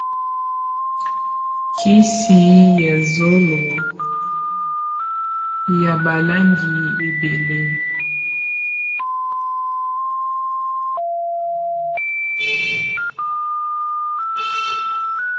Kisi ya zolo ya balangi ebele.